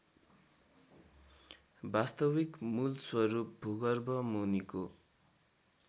वास्तविक मूलस्वरूप भूगर्भमुनिको